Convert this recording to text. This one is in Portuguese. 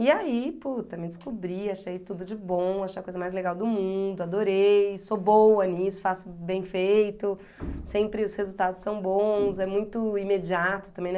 E aí, puta, me descobri, achei tudo de bom, achei a coisa mais legal do mundo, adorei, sou boa nisso, faço bem feito, sempre os resultados são bons, é muito imediato também, né?